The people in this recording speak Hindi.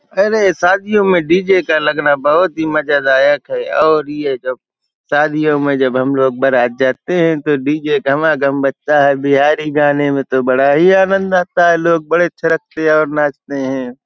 अरे शादियों में डीजे का लगना बोहोत ही मजादायक है और ये जब शादियों में जब हम लोग बरात जाते हैं तो डीजे घमाघम बजता है। बिहारी गाने में तो बड़ा ही आनंद आता है । लोग बड़े थिरकते हैं और नाचते हैं ।